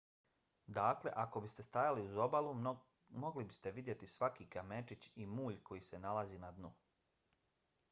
dakle ako biste stajali uz obalu mogli biste vidjeti svaki kamenčić i mulj koji se nalazi na dnu